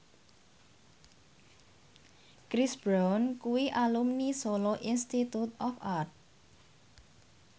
Chris Brown kuwi alumni Solo Institute of Art